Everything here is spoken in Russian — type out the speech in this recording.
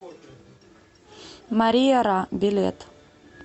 мария ра билет